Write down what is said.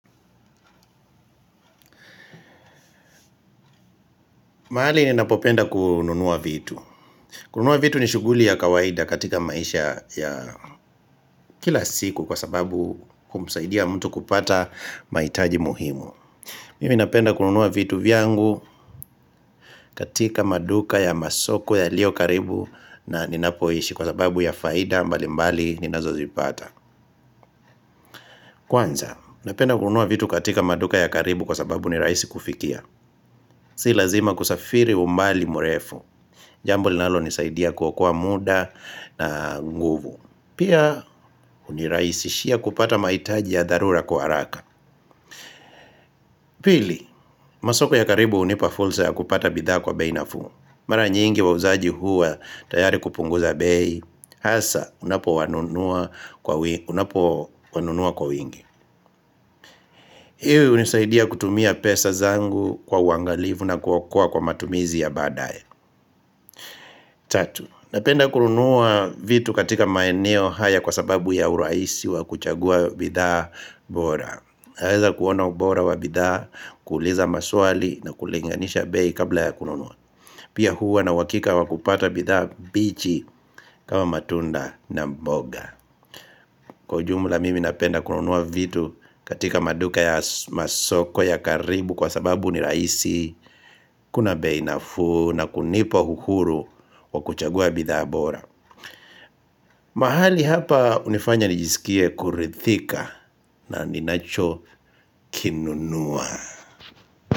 Mahali ni napopenda kununua vitu. Kununua vitu ni shuguli ya kawaida katika maisha ya ya kila siku kwa sababu kumsaidia mtu kupata mahitaji muhimu. Mimi napenda kununua vitu vyangu katika maduka ya masoko yalio karibu na ninapoishi kwa sababu ya faida mbali mbali ninazo zipata. Kwanza, napenda kununua vitu katika maduka ya karibu kwa sababu ni rahisi kufikia. Si lazima kusafiri umbali mrefu. Jambo linalonisaidia kuokoa kwa muda na nguvu. Pia huniraisishia kupata mahitaji ya dharura kwa haraka. Pili, masoko ya karibu hunipa fursa ya kupata bidhaa kwa bei nafuu. Mara nyingi wauzaji huwa tayari kupunguza bei hasa, unapo wanunua kwa wi unapo wanunua kwa wingi. Iwe hunisaidia kutumia pesa zangu kwa uangalivu na kuokoa kwa matumizi ya baadaye Tatu, napenda kununuwa vitu katika maeneo haya kwa sababu ya urahisi wa kuchagua bidhaa bora. Naweza kuona bora wa bidhaa, kuuliza maswali na kulinganisha bei kabla ya kununua. Pia huwa na uhakika wa kupata bidhaa bichi kama matunda na mboga. Kwa ujumula mimi napenda kununuwa vitu katika maduka ya so masoko ya karibu kwa sababu ni rahisi. Kuna bei nafuu na kunipa uhuru wa kuchagua bidhaa bora mahali hapa hunifanya nijisikie kuridhika na ninacho kinunua.